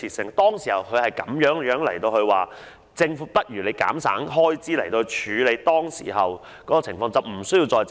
他當時就是這樣建議政府減省開支，以處理當前情況，而無須再借款。